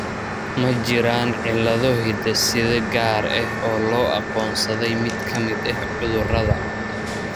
Ma jiraan cillado hidde-side gaar ah oo loo aqoonsaday mid ka mid ah cudurrada.